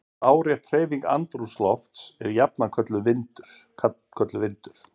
Lárétt hreyfing andrúmslofts er jafnan kölluð vindur.